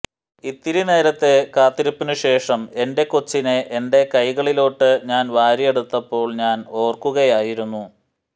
ഇത്തിരി നേരത്തെ കാത്തിരിപ്പിനു ശേഷം എന്റെ കൊച്ചിനെ എന്റെ കൈകളിലോട്ട് ഞാൻ വാരിയെടുത്തപ്പോൾ ഞാൻ ഓർക്കുകയായിരുന്നു